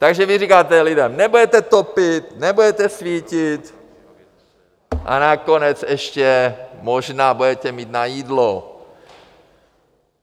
Takže vy říkáte lidem: nebudete topit, nebudete svítit a nakonec ještě možná budete mít na jídlo.